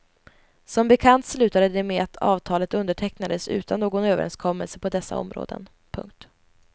Som bekant slutade det med att avtalet undertecknades utan någon överenskommelse på dessa områden. punkt